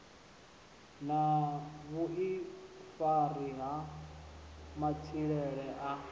na vhuifari ha matshilele a